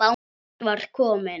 Björn var kominn.